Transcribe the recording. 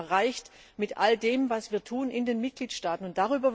Was haben wir denn erreicht mit all dem, was wir in den Mitgliedstaaten tun?